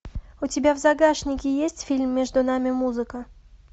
у тебя в загашнике есть фильм между нами музыка